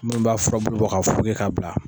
Minnu b'a furabulu bɔ ka foroki k'a bila.